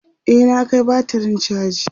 e na Kai batirin chaji